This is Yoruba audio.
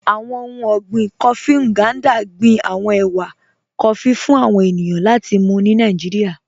Àwọn ọ̀hun ọ̀gbìn kófí Ngandà gbìn àwọn èwà kófí fún àwọn ènìyàn láti mú ni Nàìjíríà.